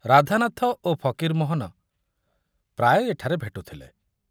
ରାଧାନାଥ ଓ ଫକୀରମୋହନ ପ୍ରାୟ ଏଠାରେ ଭେଟୁଥିଲେ।